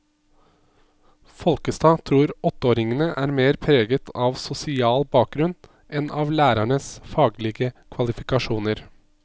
Folkestad tror åtteåringene er mer preget av sosial bakgrunn enn av lærernes faglige kvalifikasjoner.